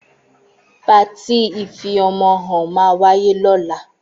Pàtí ìfí ọmọ hàn mà wàyé lola